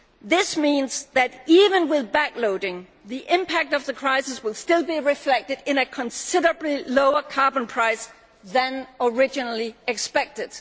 This means that, even with backloading, the impact of the crisis will still be reflected in a considerably lower carbon price than originally expected.